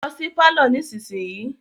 Lọ sí pálọ̀ nísinsìyìí.